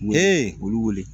U ye olu wele